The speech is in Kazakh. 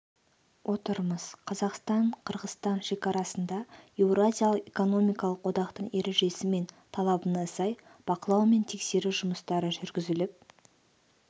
отырмыз қазақстан-қырғызстан шекарасында еуразиялық экономикалық одақтың ережесі мен талабына сай бақылау мен тексеру жұмыстары жүргізіліп